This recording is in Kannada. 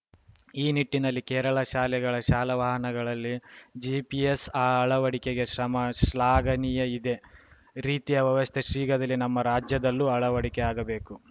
ಈ ನಿಟ್ಟಿನಲ್ಲಿ ಕೇರಳ ಶಾಲೆಗಳ ಶಾಲಾವಾಹನಗಳಲ್ಲಿ ಜಿಪಿಎಸ್‌ ಅಳವಡಿಕೆಗೆ ಕ್ರಮ ಶ್ಲಾಘನೀಯ ಇದೇ ರೀತಿಯ ವ್ಯವಸ್ಥೆ ಶೀಘ್ರದಲ್ಲಿ ನಮ್ಮ ರಾಜ್ಯದಲ್ಲೂ ಅಳವಡಿಕೆಯಾಗಬೇಕು